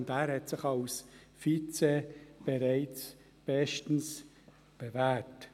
Als Vizepräsident hat er sich bereits bestens bewährt.